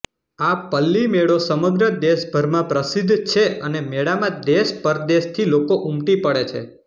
આ પલ્લી મેળો સમગ્ર દેશભરમાં પ્રસિધ્ધ છે અને મેળામાં દેશ પરદેશથી લોકો ઉમટી પડે છે